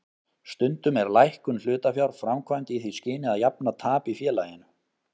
Stundum er lækkun hlutafjár framkvæmd í því skyni að jafna tap í félaginu.